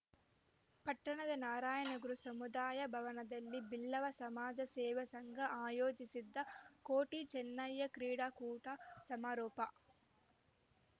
ಪಟ್ಟಣದ ನಾರಾಯಣಗುರು ಸಮುದಾಯ ಭವನದಲ್ಲಿ ಬಿಲ್ಲವ ಸಮಾಜ ಸೇವಾ ಸಂಘ ಆಯೋಜಿಸಿದ್ದ ಕೋಟಿ ಚೆನ್ನಯ್ಯ ಕ್ರೀಡಾಕೂಟ ಸಮಾರೋಪ